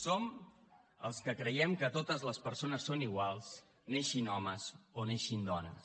som els que creiem que totes les persones són iguals neixin homes o neixin dones